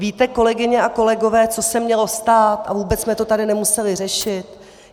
Víte, kolegyně a kolegové, co se mělo stát a vůbec jsme to tady nemuseli řešit?